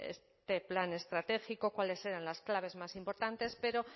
este plan estratégico cuáles eran las claves más importantes pero